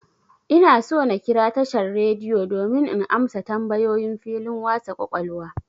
Ina so na kira tashan'r rediyo domin in amsa tambayoyin filin wasa ƙwaƙwalwa.